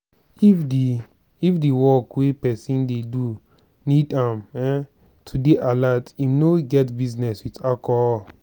if di if di work wey person dey do need am um to dey alert im no get business with alcohol